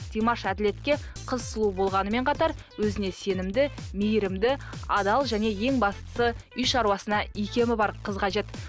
димаш әділетке қыз сұлу болғанымен қатар өзіне сенімді мейірімді адал және ең бастысы үй шаруашысына икемі бар қыз қажет